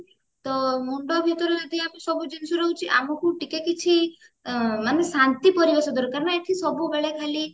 ତ ମୁଣ୍ଡ ଭିତରେ ଯଦି ଆମର ସବୁ ଜିନିଷ ରହୁଛି ଆମକୁ ଟିକେ କିଛି ମାନେ ଶାନ୍ତି ପରିବେଶ ଦରକାର ନ ଏଠି ସବୁବେଳେ ଖାଲି